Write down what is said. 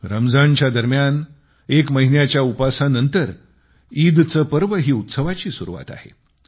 रमजानच्या दरम्यान एक महिन्याच्या उपासा नंतर ईदचे पर्व ही उत्सवाची सुरुवात आहे